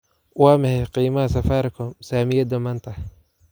Waa maxay qiimaha Safaricom saamiyada maanta?